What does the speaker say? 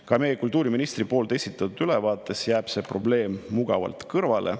Ka meie kultuuriministri esitatud ülevaates jäi see probleem mugavalt kõrvale.